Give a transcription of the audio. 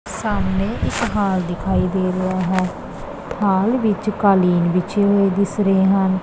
ਸਾਹਮਣੇ ਇੱਕ ਹਾਲ ਦਿਖਾਈ ਦੇ ਰਿਹਾ ਹੈ ਹਾਲ ਵਿੱਚ ਕਾਲੀਨ ਵਿਛੇ ਹੋਏ ਦਿਸ ਰਹੇ ਹਨ।